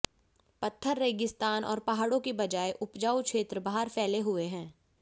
पत्थर रेगिस्तान और पहाड़ों की बजाय उपजाऊ क्षेत्र बाहर फैले हुए हैं